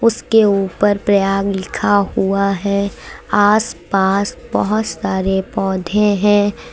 उसके ऊपर प्रयाग लिखा हुआ है आस पास बहुत सारे पौधे हैं।